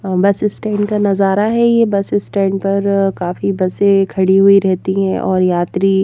अ bus stand का नजारा हैये बस स्टैंड पर काफी बसें खड़ी हुई रहती हैंऔर यात्री--